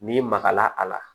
N'i magara a la